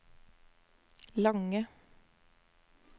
lange